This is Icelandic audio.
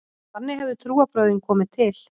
Þannig hefðu trúarbrögðin komið til.